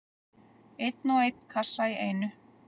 Einn og einn kassa í einu.